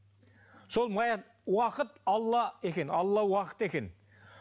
сол уақыт алла екен алла уақыт екен